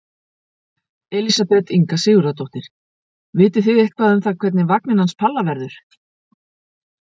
Elísabet Inga Sigurðardóttir: Vitið þið eitthvað um það hvernig vagninn hans Palla verður?